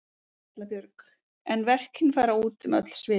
Erla Björg: En verkin fara út um öll svið?